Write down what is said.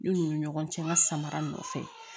Ne n'u ni ɲɔgɔn cɛ n ka samara nɔfɛ